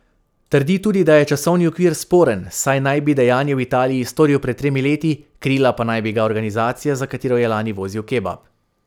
Trdi tudi, da je časovni okvir sporen, saj naj bi dejanje v Italiji storil pred tremi leti, krila pa naj bi ga organizacija, za katero je lani vozil kebab.